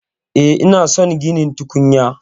E, ina son ginin tukunya